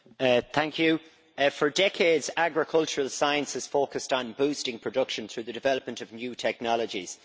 Madam President, for decades agricultural science has focused on boosting production through the development of new technologies.